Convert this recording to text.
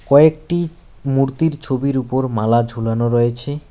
কয়েকটি মূর্তির ছবির উপর মালা ঝুলানো রয়েছে।